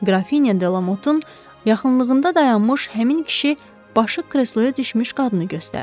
Qrafinya de Lamotun yaxınlığında dayanmış həmin kişi başı kresloya düşmüş qadını göstərdi.